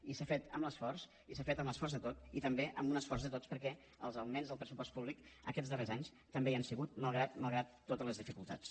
i s’ha fet amb l’esforç de tots i també amb un esforç de tots perquè els augments del pressupost públic aquests darrers anys també hi han sigut malgrat totes les dificultats